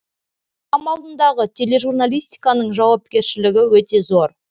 қоғам алдындағы тележурналистиканың жауапкершілігі өте зор